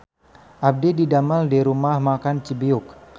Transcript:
Abdi didamel di Rumah Makan Cibiuk